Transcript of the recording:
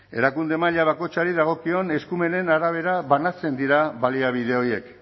erakunde maila bakoitzari dagozkion eskumenen arabera banatzen dira baliabide horiek